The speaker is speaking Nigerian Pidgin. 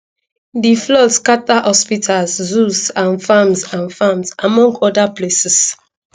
di floods scata hospitals zoos and farms and farms among oda places